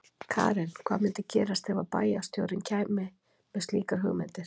Karen: Hvað myndi gerast ef að bæjarstjórinn hér kæmi með slíkar hugmyndir?